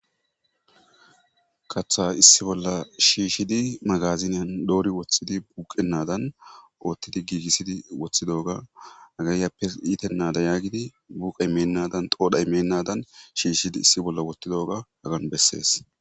kaththa issi bolla shiishidi magaziniyan doori woththidi buuqennadan oottidi giigissidi woththidoga hagaayyappe iitennada yaagidi buqe mennadan xoodha mennadan shiishidi issi bolla wottidaoga hagan bessees